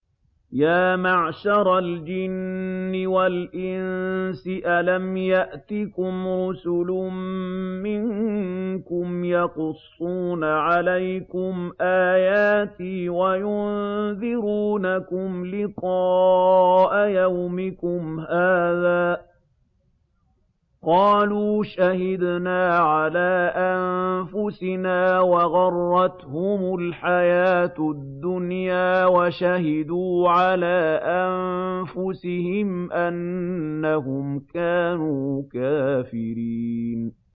يَا مَعْشَرَ الْجِنِّ وَالْإِنسِ أَلَمْ يَأْتِكُمْ رُسُلٌ مِّنكُمْ يَقُصُّونَ عَلَيْكُمْ آيَاتِي وَيُنذِرُونَكُمْ لِقَاءَ يَوْمِكُمْ هَٰذَا ۚ قَالُوا شَهِدْنَا عَلَىٰ أَنفُسِنَا ۖ وَغَرَّتْهُمُ الْحَيَاةُ الدُّنْيَا وَشَهِدُوا عَلَىٰ أَنفُسِهِمْ أَنَّهُمْ كَانُوا كَافِرِينَ